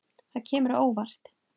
Það kemur á óvart.